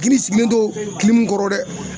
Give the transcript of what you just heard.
Kini i sigilen to kɔrɔ dɛ